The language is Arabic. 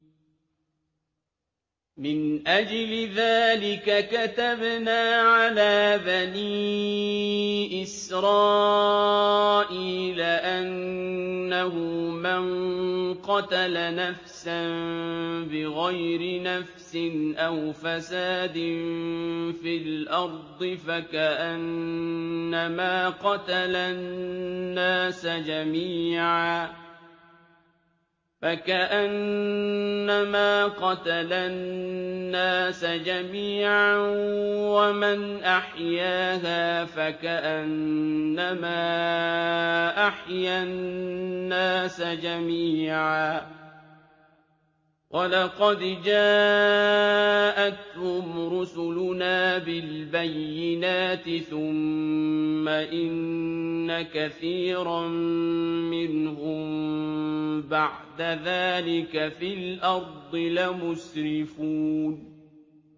مِنْ أَجْلِ ذَٰلِكَ كَتَبْنَا عَلَىٰ بَنِي إِسْرَائِيلَ أَنَّهُ مَن قَتَلَ نَفْسًا بِغَيْرِ نَفْسٍ أَوْ فَسَادٍ فِي الْأَرْضِ فَكَأَنَّمَا قَتَلَ النَّاسَ جَمِيعًا وَمَنْ أَحْيَاهَا فَكَأَنَّمَا أَحْيَا النَّاسَ جَمِيعًا ۚ وَلَقَدْ جَاءَتْهُمْ رُسُلُنَا بِالْبَيِّنَاتِ ثُمَّ إِنَّ كَثِيرًا مِّنْهُم بَعْدَ ذَٰلِكَ فِي الْأَرْضِ لَمُسْرِفُونَ